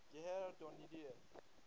gare du nord